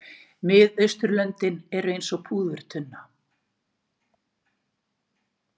Miðausturlöndin eru eins og púðurtunna.